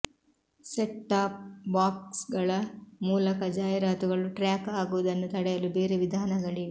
set top ಬಾಕ್ಸ್ಗಳ ಮೂಲಕ ಜಾಹೀರಾತುಗಳು ಟ್ರ್ಯಾಕ್ ಆಗುವುದನ್ನು ತಡೆಯಲು ಬೇರೆ ವಿಧಾನಗಳಿವೆ